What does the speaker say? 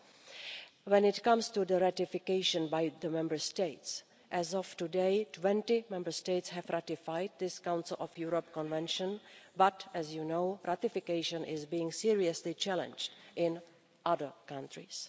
With regard to ratification by the Member States, as of today 20 Member States have ratified this Council of Europe convention but, as you know, ratification is being seriously challenged in other countries.